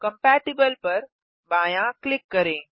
compatible पर बायाँ click करें